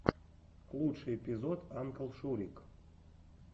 лучший эпизод анклшурик